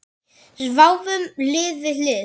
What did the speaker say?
Sváfum hlið við hlið.